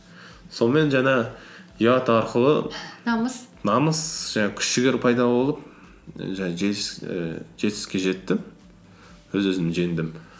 сонымен жаңағы ұят арқылы намыс намыс жаңағы күш жігер пайда болып жаңағы ііі жетістікке жеттім өз өзімді жеңдім